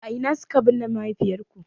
A ina suka binne mahaifiyarku.